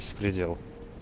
беспредел